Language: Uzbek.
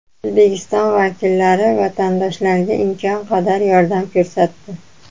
O‘zbekiston vakillari vatandoshlarga imkon qadar yordam ko‘rsatdi.